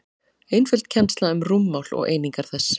einföld kennsla um rúmmál og einingar þess